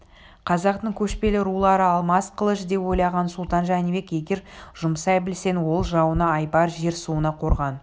қазақтың көшпелі рулары алмас қылыш деп ойлаған сұлтан жәнібек егер жұмсай білсең ол жауыңа айбар жер-суыңа қорған